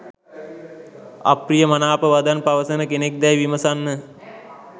අපි්‍රය අමනාප වදන් පවසන කෙනෙක් දැයි විමසන්න.